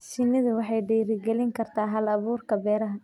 Shinnidu waxay dhiirigelin kartaa hal-abuurka beeraha.